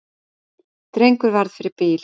Drengur varð fyrir bíl